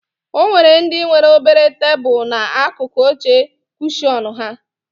O nwere ndị nwere obere tebulu n'akụkụ oche kushọn ha